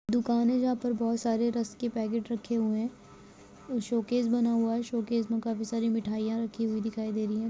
एक दुकान है जहा पे बहुत सरे रश के पैकेट्स रखे हुये है शोकेस बना हुआ है शोकेस मे काफी सारी मिठाईया रखी हुई दिखाई दे रही है।